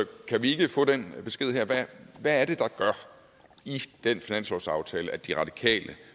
kan vi ikke få den besked her hvad er det i den finanslovsaftale at de radikale